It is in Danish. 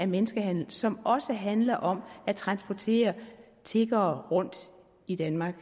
menneskehandel som også handler om at transportere tiggere rundt i danmark